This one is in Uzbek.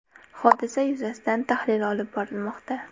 Hodisa yuzasidan tahlil olib borilmoqda.